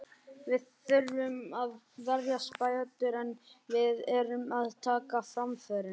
Við þurfum að verjast betur, en við erum að taka framförum.